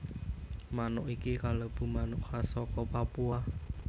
Manuk iki kalebu manuk khas saka Papua